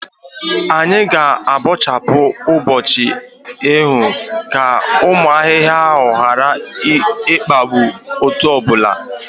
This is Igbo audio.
Anyị ga abọchapu ubi echi ka ụmụ ahịhịa hara ikpagbụ otuboala